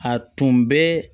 A tun bɛ